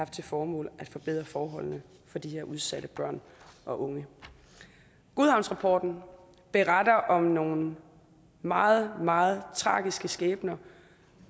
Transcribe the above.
til formål at forbedre forholdene for de udsatte børn og unge godhavnsrapporten beretter om nogle meget meget tragiske skæbner